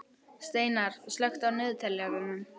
Steinar, slökktu á niðurteljaranum.